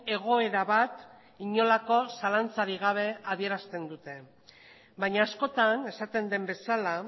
egoera bat inolako zalantzarik gabe adierazten dute baina askotan esaten den bezala